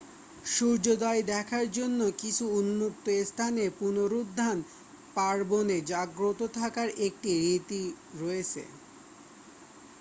সূর্যোদয় দেখার জন্য কিছু উন্মুক্ত স্থানে পুনরুত্থান পার্বণে জাগ্রত থাকার একটি রীতি রয়েছে